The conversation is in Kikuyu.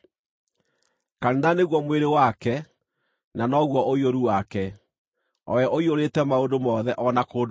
Kanitha nĩguo mwĩrĩ wake, na noguo ũiyũru wake, o we ũiyũrĩte maũndũ mothe o na kũndũ guothe.